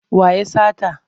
Waya ya sata.